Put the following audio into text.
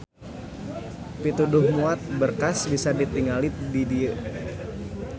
Pituduh muat berkas bisa ditingali di dieu.